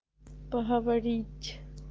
поговорить